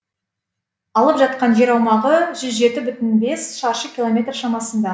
алып жатқан жер аумағы жүз жеті бүтін бес шаршы километр шамасында